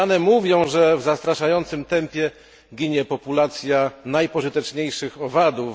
Te dane mówią, że w zastraszającym tempie ginie populacja najpożyteczniejszych owadów.